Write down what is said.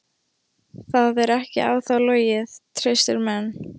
Það er ekki á þá logið: traustir menn.